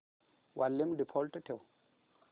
volume default ठेव